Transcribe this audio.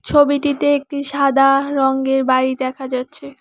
ছবিটিতে একটি সাদা রঙ্গের বাড়ি দেখা যাচ্ছে।